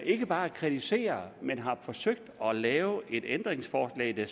ikke bare kritiserer men som har forsøgt at lave et ændringsforslag der